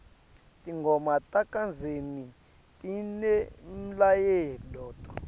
tingoma takadzeni tinemlayeto